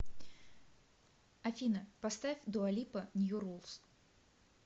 афина поставь дуа липа нью рулс